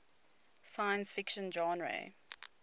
science fiction genre